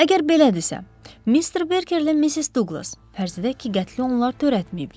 Əgər belədirsə, Mister Berkerlə Missis Duqlas fərz edək ki, qətli onlar törətməyiblər.